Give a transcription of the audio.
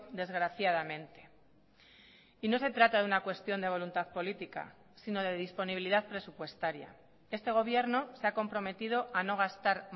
desgraciadamente y no se trata de una cuestión de voluntad política sino de disponibilidad presupuestaria este gobierno se ha comprometido a no gastar